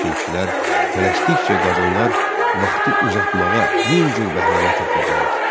Lakin kişilər tələsdikcə qadınlar vaxtı uzatmağa min cür bəhanə tapırdılar.